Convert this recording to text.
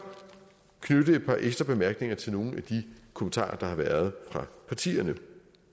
knytte et par ekstra bemærkninger til nogle af de kommentarer der har været fra partierne